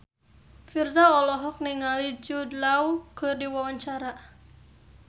Virzha olohok ningali Jude Law keur diwawancara